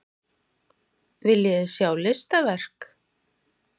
Viljiði sjá listaverk?